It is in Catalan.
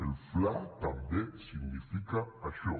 el fla també significa això